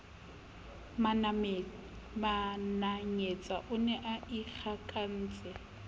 mananyetsa o ne a ikgakantse